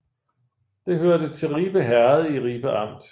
Det hørte til Ribe Herred i Ribe Amt